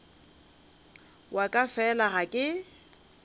wa ka fela ga ke